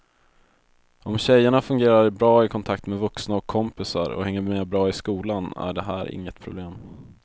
Om tjejerna fungerar bra i kontakt med vuxna och kompisar och hänger med bra i skolan är det här inget problem.